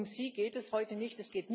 Um sie geht es heute nicht.